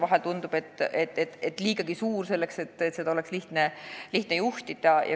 Vahel tundub, et see on liigagi suur, ja seda ei ole lihtne juhtida.